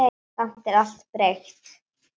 Samt er allt breytt.